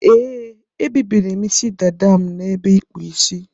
Ee, ebibiri m Ịsị dada m na ebe ikpu Ịsị.